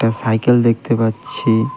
একটা সাইকেল দেখতে পাচ্ছি .